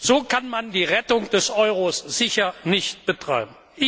So kann man die Rettung des Euro sicher nicht betreiben.